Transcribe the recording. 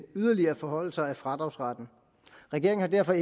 yderligere forhøjelser af fradragsretten regeringen har derfor